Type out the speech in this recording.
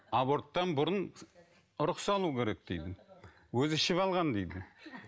аборттан бұрын ұрық салу керек дейді өзі ішіп алған дейді